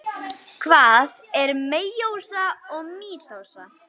Hvað er meiósa og mítósa?